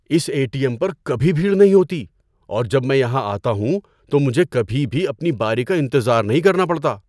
Us A T M پر کبھی بھیڑ نہیں ہوتی اور جب میں یہاں آتا ہوں تو مجھے کبھی بھی اپنی باری کا انتظار نہیں کرنا پڑتا۔